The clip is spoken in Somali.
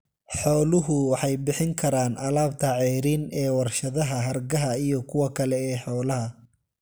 Xooluhu waxay bixin karaan alaabta ceeriin ee warshadaha hargaha iyo kuwa kale ee xoolaha.